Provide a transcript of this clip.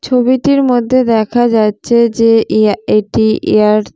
ছবিটির মধ্যে দেখা যাচ্ছে যে এয়ার এটি ইয়ার --